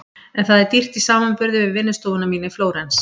En það er dýrt í samanburði við vinnustofuna mína í Flórens.